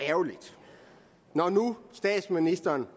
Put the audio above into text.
ærgerligt når nu statsministeren